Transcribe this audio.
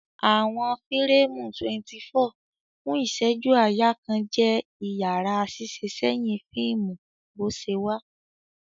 Awọn fireemu 24 fun iṣẹju-aaya kan jẹ iyara ṣiṣiṣẹsẹhin fiimu boṣewa.